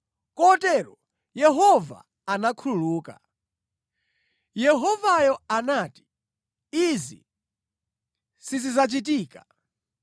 Kotero Yehova anakhululuka. Yehovayo anati, “Izi sizidzachitika.”